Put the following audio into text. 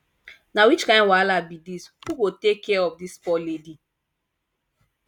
na which kin wahala be dis who go take care of dis poor lady